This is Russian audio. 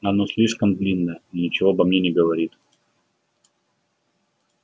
оно слишком длинно и ничего обо мне не говорит